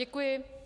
Děkuji.